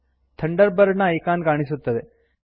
thunder bird ನ icon ಕಾಣಿಸುತ್ತದೆ